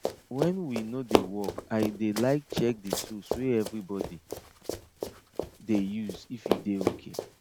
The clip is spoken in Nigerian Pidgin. when we no dey work i dey like check the tools wey everybody dey use if e dey okay